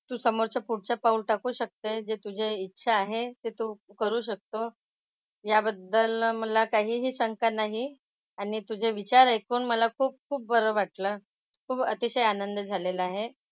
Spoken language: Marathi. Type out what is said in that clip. तू समोरचं पुढचं पाऊल टाकू शकते जे तुझे इच्छा आहे ते तू करू शकतो. याबद्दल मला काहीही शंका नाही. आणि तुझे विचार ऐकून मला खूप खूप बरं वाटलं. खूप अतिशय आनंद झालेला आहे.